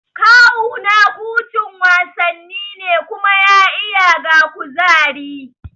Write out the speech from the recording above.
Kawuna kucin wasanni ne kuma ya iya ga kuzari